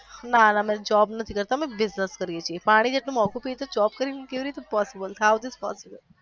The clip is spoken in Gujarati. ના ના અમે job નથી કરતા અમે business કરીએ છી પાણી જ આટલું મોંઘુ છે તો job કરી ને કેવી રીતે possible how this possible